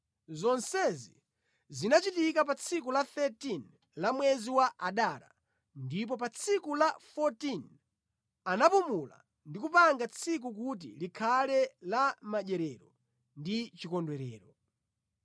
Zonsezi zinachitika pa tsiku la 13 la mwezi wa Adara ndipo pa tsiku la 14 anapumula ndi kupanga tsikuli kuti likhale la madyerero ndi chikondwerero.